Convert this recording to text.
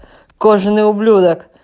кожаный ублюдок